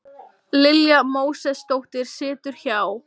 Lilja Mósesdóttir situr hjá